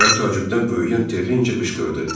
Gözləri təəccübdən böyüyən Terinci qışqırdı.